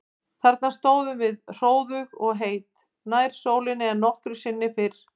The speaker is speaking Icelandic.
Þarna stóðum við hróðug og heit, nær sólinni en nokkru sinni fyrr.